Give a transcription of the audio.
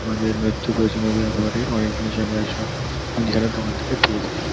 আমাদের নিত্য প্রয়োজনীয় ব্যাবহারের অনেক জিনিস আমরা এইসব মুদিখানার দোকান থেকে পেয়ে থাকি।